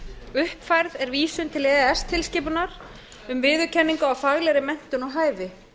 uppfærð er vísun til e e s tilskipunar um viðurkenningu á faglegri menntun og hæfi